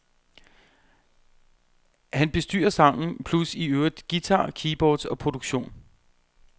Han bestyrer sangen plus i øvrigt guitar, keyboards og produktion.